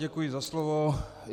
Děkuji za slovo.